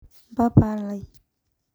mpapa lai.